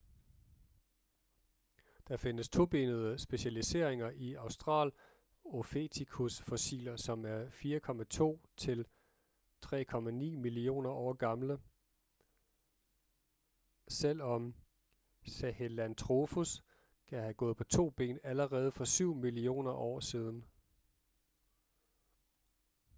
der findes tobenede specialiseringer i australopithecus-fossiler som er 4,2-3,9 millioner år gamle selvom sahelanthropus kan have gået på to ben allerede for syv millioner år siden